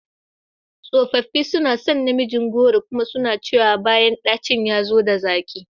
Tsofaffi suna son namijin goro kuma suna cewa bayan dacin ya zo da zaƙi.